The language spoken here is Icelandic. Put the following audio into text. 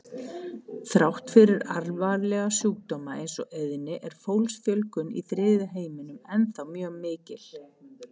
Þrátt fyrir alvarlega sjúkdóma eins og eyðni er fólksfjölgun í þriðja heiminum ennþá mjög mikil.